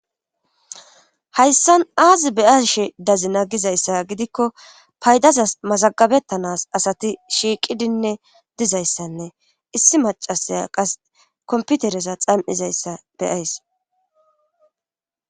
hayssan aazi beyashe dazina gizayssa gidikko paydazas mazagabettanas asati shiiqidinne dizayssanne issi macasaya qas komputereza xam7izayssa be,ays